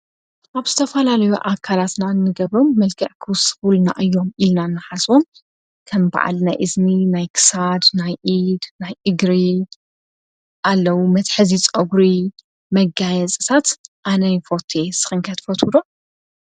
ኣብ ስተፋላልዮ ኣካራትና እንገብሮም መልገዕክዉ ስቡል ና እዮም ኢልና እናሓዞም ከም በዓል ናይ እዝኒ ናይ ክሳድ ናይ ኢድ ናይ ኢግሪ ኣለ። መትሕዚ ፆጕሪ መጋየ ጽሳት ኣነይፈቴ ስኽንከት ፈትሎ?